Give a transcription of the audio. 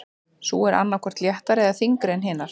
Sú er annað hvort léttari eða þyngri en hinar.